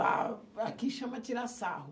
Ah, aqui chama tirar sarro.